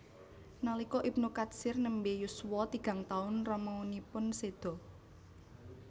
Nalika Ibnu Katsir nembe yuswa tigang taun ramanipun seda